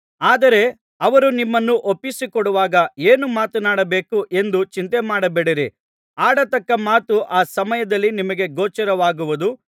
ಆದರೆ ಅವರು ನಿಮ್ಮನ್ನು ಒಪ್ಪಿಸಿಕೊಡುವಾಗ ಏನು ಮಾತನಾಡಬೇಕು ಎಂದು ಚಿಂತೆಮಾಡಬೇಡಿರಿ ಆಡತಕ್ಕ ಮಾತು ಆ ಸಮಯದಲ್ಲಿ ನಿಮಗೆ ಗೋಚರವಾಗುವುದು